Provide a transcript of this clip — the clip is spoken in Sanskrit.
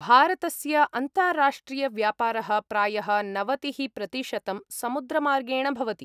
भारतस्य अन्ताराष्ट्रियव्यापारः प्रायः नवतिः प्रतिशतं समुद्रमार्गेण भवति।